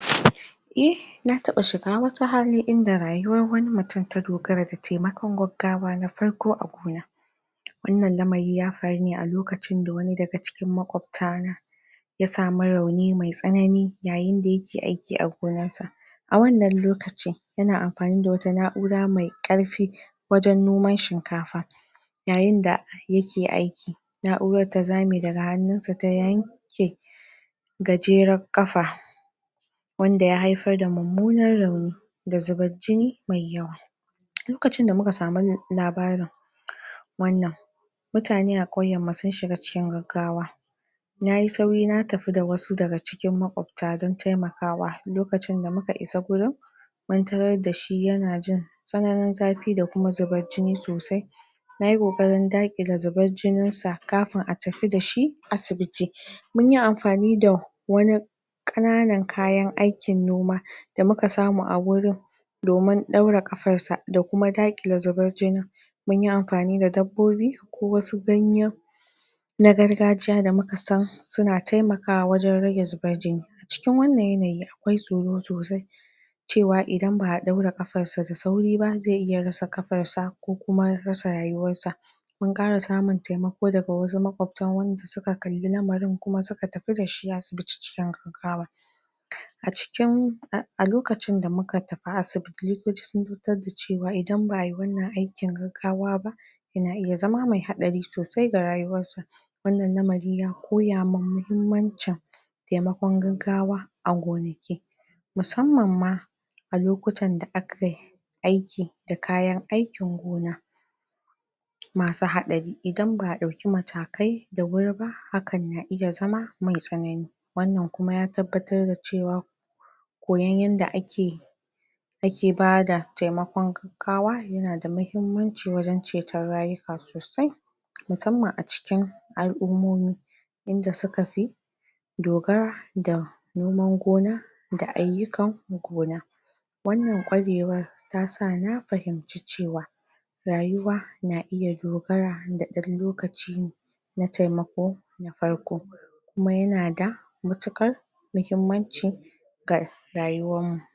eh na taba shiga wata hali inda rayuwar wani mutum ta dogara da taimakon gaggawa na farko a gona wannan lamari ya faru ne a lokacin da wani daga cikin maƙwabta n ya samu rauni mai tsanani yaayinda yake aiki a gonar sa a wannan lokaci yana amfani da wata na'ura mai karfi wajan noman shinkafa, yaayinda yake aiki na'urar ta zaame daga hannunsa ta yanke gajerar kafa wanda ya haifar da mummunar rauni da zubar jini mai yawa, lokacin da muka sami labarin wannan mutane a kauyan mu sun shiga cikin riggawa nayi sauri na tafi da wasu daga cikin makwabta dan taimakawa, lokacin da muka isa gurin muntarar da shi yana jin tsananin zafi da kuma zubar jini sosai nayi koƙarin daakile zubar jininsa kafin a tafi dashi asibiti, munyi amfani da wani ƙananan kayan aikin noma da muka samu a gurin domin ɗaura kafar sa da kuma daakile zubar jinin munyi amfani da dabbobi ko wasu gayan na gargajiya da muka san suna taimakawa wajan rage zubar jini cikin wannan yanayi akwai tsoro sosai cewa idan ba'a ɗaura kafar sa da sauri ba ze iya rasa kafar sa ko kuma rasa rayuwar sa. Mun ƙara samun taimako daga wasu makwabta wanda suka kalli lamarin kuma suka tafi dashi asibiti cikin gaggawa a cikin a a cikin a a lokacin da muka tafi asibiti likitoci sun a a lokacin da muka tafi asibiti likitoci sun da cewa idan ba'ayi wannan aikin gaggawa ba yana iya zama mai hatsari sosai ga rayuwar sa wannan lamari ya koya min muhimmancin taimakon gaggawa a gonaki. Musamman ma a lokutan da akai aiki da kayan aikin gona masu hatsari idan ba'a ɗauki matakai da wuri ba hakan na iya zama mai tsanani wannan kuma ya tabbatar da cewa koyan yanda ake ake bada taimakon gaggawa yana da mahimmanci wajan cetan rayuka sosai musamman a cikin al'ummomi inda suka fi dogara da noman gona da ayyukan gona. Wannan ta sa na fahimci cewa rayuwa na iya dogara da ɗan lokaci na taimako na taimako na farko, kuma yana da matuƙar muhimmanci ga rayuwan mu.